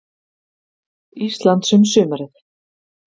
Íslands um sumarið.